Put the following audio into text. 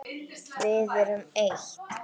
Við erum eitt.